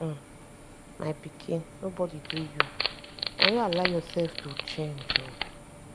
um my pikin nobody do you. na you allow yourself to change um